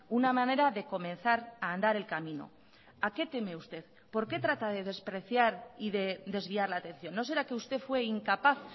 una manera de comenzar a andar el camino a qué teme usted por qué trata de despreciar y de desviar la atención no será que usted fue incapaz